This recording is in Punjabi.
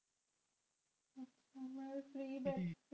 free ਜੇ